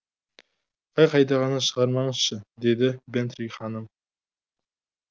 қай қайдағыны шығармаңызшы деді бэнтри ханым